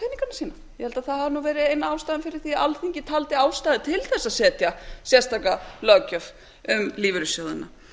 ég held að það hafi nú verið ein ástæðan fyrir því að alþingi taldi ástæðu til þess að setja sérstaka löggjöf um lífeyrissjóðina